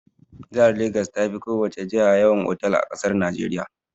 Jihar Legas ta fi ko wace jiha yawan otal a ƙasar Najeriya.